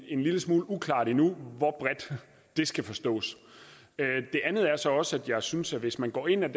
en lille smule uklart endnu hvor bredt det skal forstås det andet er så også at jeg synes at hvis man går ind